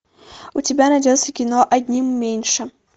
у тебя найдется кино одним меньше